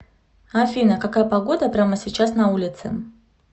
афина какая погода прямо сейчас на улице